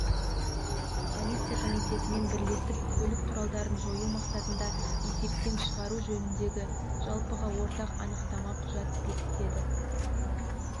полиция комитетімен бірлесіп көлік құралдарын жою мақсатында есептен шығару жөніндегі жалпыға ортақ анықтама құжат бекітеді